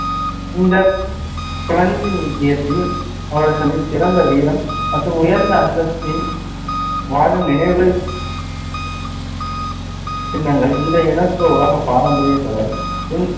இந்த பிரந்தினித்தியத்தில் அவர்களின் சிறந்த வீரம் மற்றும் உயர்ந்த அந்தஸ்தின் வாழும் நினைவு சின்னங்கள். இன்றைய UNESCO உலக பாரம்பரிய தொடர். பிந்